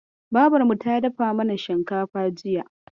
Babarmu ta dafa mana shinkafa jiya.